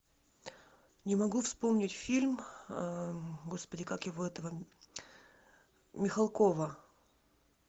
не могу вспомнить фильм господи как его этого михалкова